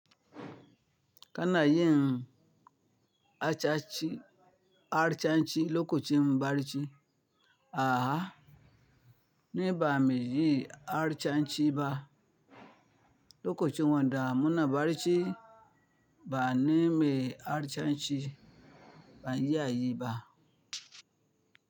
Kana yin harsashi, harsashi lokacin bacci? Aha! Ni ba mi yi harsashi ba lokaci wanda muna bacci ba ni mai harsashi ban iya yi ba.